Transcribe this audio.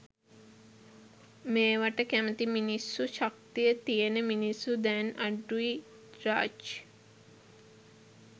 මේවට කැමැති මිනිස්සු ශක්තිය තියෙන මිනිස්සු දැන් අඩුයි රාජ්.